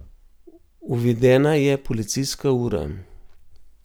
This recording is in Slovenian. Uvedena je policijska ura.